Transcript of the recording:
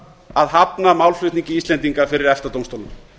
að hafna málflutningi íslendinga fyrir efta dómstólnum